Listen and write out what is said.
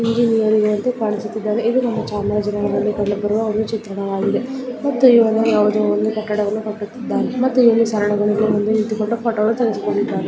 Engineer ನಂತೆ ಕಾಣಿಸುತ್ತಿದ್ದಾರೆ ಇದು ಒಂದು ಚಾಮರಾಜನಗರದಲ್ಲಿ ಕಂಡುಬರುವ ಒಂದು ಚಿತ್ರಣವಾಗಿದೆ ಮತ್ತು ಕಟ್ಟಡವನ್ನು ಕಟ್ಟುತ್ತಿದ್ದಾರೆ ಮತ್ತು ಇಲ್ಲಿ ಸರಳುಗಳ ಮೇಲೆ ನಿಂತುಕೊಂಡು ಫೋಟೋವನ್ನು ತೆಗೆದುಕೊಳ್ಳುತ್ತಿದ್ದಾನೆ.